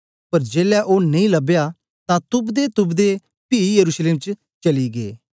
पर जेलै ओ नेई लबया तां तुपदेतुपदे पी यरूशलेम च चली गै